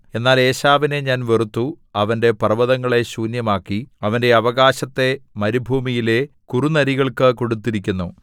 എന്നാൽ ഏശാവിനെ ഞാൻ വെറുത്തു അവന്റെ പർവ്വതങ്ങളെ ശൂന്യമാക്കി അവന്റെ അവകാശത്തെ മരുഭൂമിയിലെ കുറുനരികൾക്കു കൊടുത്തിരിക്കുന്നു